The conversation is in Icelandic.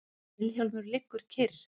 Vilhjálmur liggur kyrr.